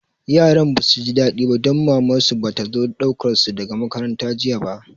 Yaran ba su ji daɗi ba don Mamar su ba ta zo ɗaukar su daga makaranta jiya ba